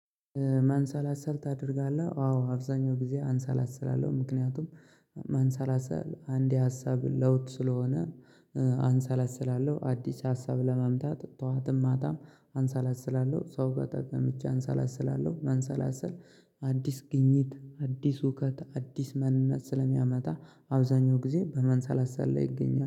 ማንሰላሰል ታደርጋለህ? አዎ አብዛኛው ጊዜ አንሰላስላለሁ ምክንያቱም ማንሰላሰል አንድ የሀሳብ ለውጥ ስለሆነ አንሰላስላለሁ አዲስ ሀሳብ ለማምጣት ጠዋትም ማታም አንሰላስላለሁ ሰው ጋር ጠቀምጨ አንሰላስላለው። ማንሰላሰል አዲስ ግኝት አዲስ እውቀት አዲስ ማንነት ስለሚያመጣ አብዛኛው ጊዜ በማንሳላሰል ላይ ይገኛል